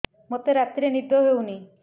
ମୋତେ ରାତିରେ ନିଦ ହେଉନି